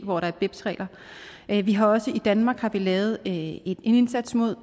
hvor der er beps regler vi har også i danmark lavet en indsats mod